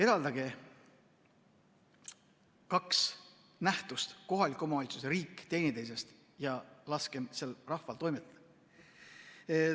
Eraldagem kaks nähtust, kohalik omavalitsus ja riik, teineteisest ja laskem rahval seal toimetada!